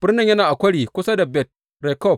Birnin yana a kwari kusa da Bet Rekob.